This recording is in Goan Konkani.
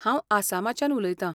हांव आसामाच्यान उलयतां.